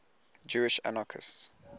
jewish anarchists